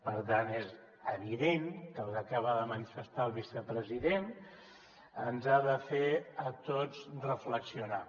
per tant és evident que el que acaba de manifestar el vicepresident ens ha de fer a tots reflexionar